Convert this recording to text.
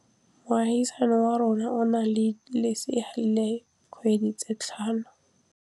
Moagisane wa rona o na le lesea la dikgwedi tse tlhano.